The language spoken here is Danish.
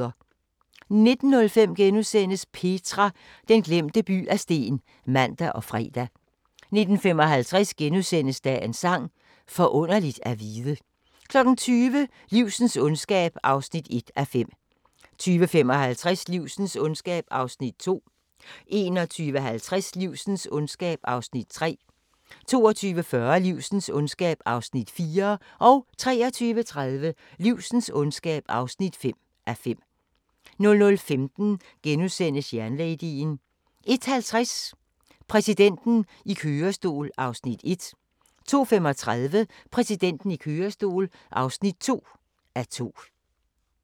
19:05: Petra – den glemte by af sten *(man og fre) 19:55: Dagens Sang: Forunderligt at vide * 20:00: Livsens ondskab (1:5) 20:55: Livsens ondskab (2:5) 21:50: Livsens ondskab (3:5) 22:40: Livsens ondskab (4:5) 23:30: Livsens ondskab (5:5) 00:15: Jernladyen * 01:50: Præsidenten i kørestol (1:2) 02:35: Præsidenten i kørestol (2:2)